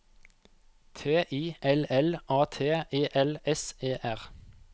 T I L L A T E L S E R